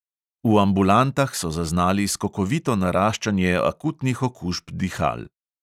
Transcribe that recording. V ambulantah so zaznali skokovito naraščanje akutnih okužb dihal.